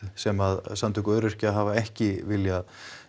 sem að samtök öryrkja hafa ekki viljað